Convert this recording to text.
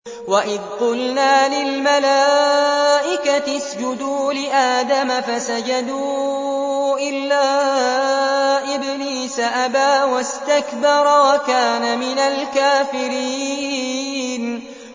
وَإِذْ قُلْنَا لِلْمَلَائِكَةِ اسْجُدُوا لِآدَمَ فَسَجَدُوا إِلَّا إِبْلِيسَ أَبَىٰ وَاسْتَكْبَرَ وَكَانَ مِنَ الْكَافِرِينَ